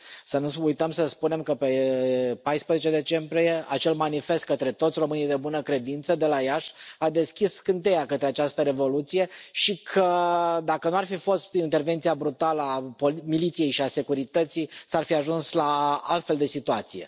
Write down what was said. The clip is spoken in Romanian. Să nu uităm să spunem că, pe 14 decembrie, acel manifest către toți românii de bună credință de la Iași a deschis scânteia către această revoluție și că, dacă nu ar fi fost intervenția brutală a Miliției și a Securității, s ar fi ajuns la o altfel de situație.